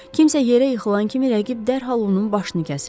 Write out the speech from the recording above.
Kimsə yerə yıxılan kimi rəqib dərhal onun başını kəsirdi.